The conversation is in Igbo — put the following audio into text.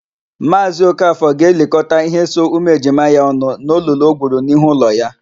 Maazị Okafọ ga-elikọta íhé so ụmụejima ya ọnụ n'olulu o gwuru n'ihu ụlọ ya.